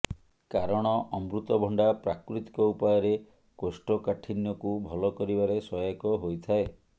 କାରଣ ଅମୃତଭଣ୍ଡା ପ୍ରାକୃତିକ ଉପାୟରେ କୋଷ୍ଠକାଠିନ୍ୟକୁ ଭଲ କରିବାରେ ସହାୟକ ହୋଇଥାଏ